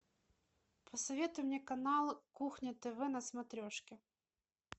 посоветуй мне канал кухня тв на смотрешке